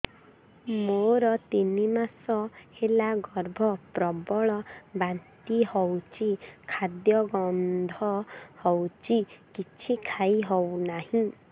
ମୋର ତିନି ମାସ ହେଲା ଗର୍ଭ ପ୍ରବଳ ବାନ୍ତି ହଉଚି ଖାଦ୍ୟ ଗନ୍ଧ ହଉଚି କିଛି ଖାଇ ହଉନାହିଁ